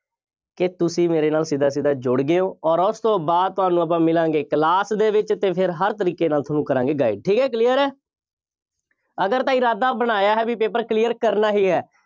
ਕਿ ਤੁਸੀਂ ਮੇਰੇ ਨਾਲ ਸਿੱਧਾ ਸਿੱਧਾ ਜੁੜ ਗਏ ਹੋ ਅੋਰ ਉਸ ਤੋਂ ਬਾਅਦ ਤੁਹਾਨੂੰ ਆਪਾਂ ਮਿਲਾਂਗੇ class ਦੇ ਵਿੱਚ ਅਤੇ ਫੇਰ ਹਰ ਤਰੀਕੇ ਦੇ ਨਾਲ ਤੁਹਾਨੂੰ ਕਰਾਂਗੇ guide ਠੀਕ ਹੈ clear ਹੈ। ਅਗਰ ਤਾਂ ਇਰਾਦਾ ਬਣਾਇਆ ਹੈ ਬਈ paper clear ਕਰਨਾ ਹੀ ਹੈ।